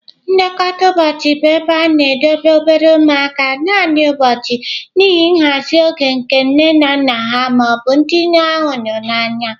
Nlekọta ụbọchị bụ ebe a na-edobe obere ụmụaka naanị ụbọchị n'ihi nhazi oge nke nne na nna ha ma ọ bụ ndị ha hụrụ n'anya.